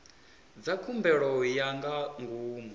dza khumbelo ya nga ngomu